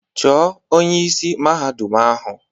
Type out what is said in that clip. Chọọ onye isi Mahadum ahụ!